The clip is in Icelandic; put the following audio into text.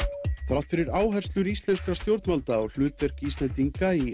þrátt fyrir áherslu íslenskra stjórnvalda á hlutverk Íslendinga í